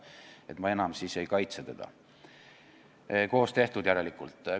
Nii et ma enam siis ei kaitse teda, koos tehtud järelikult.